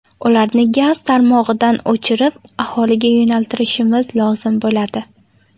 Ularni gaz tarmog‘idan o‘chirib, aholiga yo‘naltirishimiz lozim bo‘ladi.